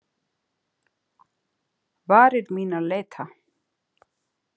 Varir mínar leita.